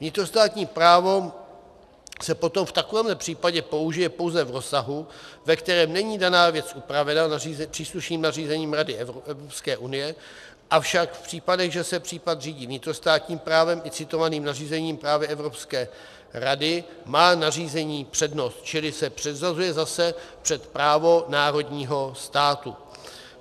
Vnitrostátní právo se potom v takovémhle případě použije pouze v rozsahu, ve kterém není daná věc upravena příslušným nařízením Rady EU, avšak v případech, že se případ řídí vnitrostátním právem i citovaným nařízením práva Evropské rady, má nařízení přednost, čili se předřazuje zase před právo národního státu.